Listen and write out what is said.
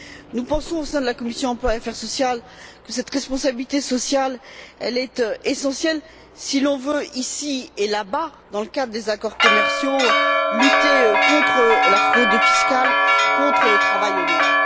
Nous pensons, au sein de la commission de l'emploi et des affaires sociales, que cette responsabilité sociale est essentielle si l'on veut ici et là bas, dans le cadre des accords commerciaux, lutter contre la fraude fiscale et le travail au noir.